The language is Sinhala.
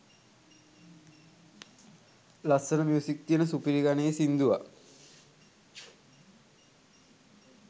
ලස්සනම මියුසික් තියන සුපිරි ගණයේ සින්දුවක්